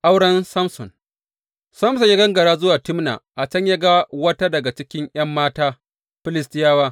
Auren Samson Samson ya gangara zuwa Timna a can ya ga wata daga cikin ’yan mata Filistiyawa.